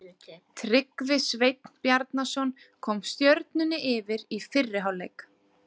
Tryggvi Sveinn Bjarnason kom Stjörnunni yfir í fyrri hálfleik.